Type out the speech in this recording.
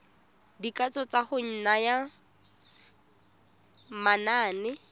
dikatso tsa go naya manane